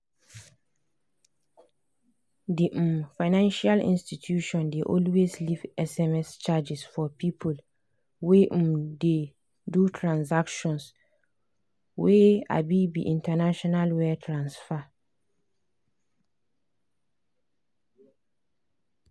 the um financial institution dey always leave sms charges for people wey um dey do transactions wey um be international wire transfer.